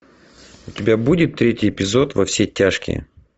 у тебя будет третий эпизод во все тяжкие